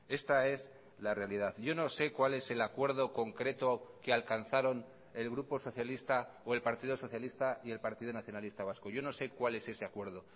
esta es la realidad yo no sé cuál es el acuerdo concreto que alcanzaron el grupo socialista o el partido socialista y el partido nacionalista vasco yo no sé cuál es ese acuerdo